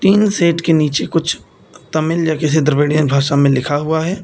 Tin shed के नीचे कुछ तमिल या किसी द्रविणियन भाषा में लिखा हुआ है।